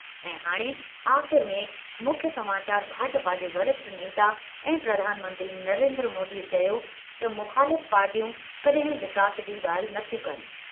ऐं हाणे आख़िर में मुख्य समाचार भाजपा जे वरिष्ठ नेता ऐं प्रधान मंत्री नरेंद्र मोदीअ चयो त मुख़ालिफ़ पार्टियूं कड॒हिं विकास जी ॻाल्हि नथियूं कनि।